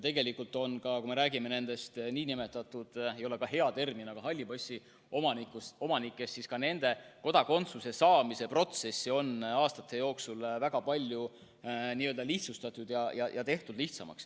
Kui me räägime halli passi omanikest, siis ka nende kodakondsuse saamise protsessi on aastate jooksul väga palju lihtsustatud.